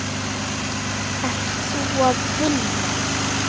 Ert þú að vinna?